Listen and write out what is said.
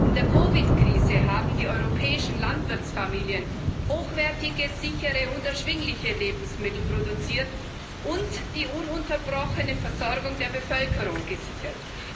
In der COVID 19 Krise haben die europäischen Landwirtsfamilien hochwertige, sichere und erschwingliche Lebensmittel produziert und die ununterbrochene Versorgung der Bevölkerung gesichert.